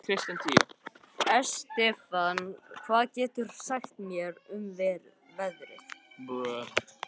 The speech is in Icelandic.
Estefan, hvað geturðu sagt mér um veðrið?